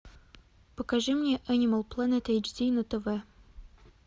покажи мне энимал плэнет эйч ди на тв